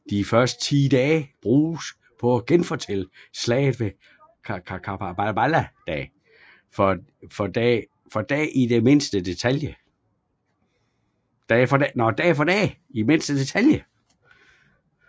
De første 10 dage bruges på at genfortælle Slaget ved Karbala dag for dag i mindste detalje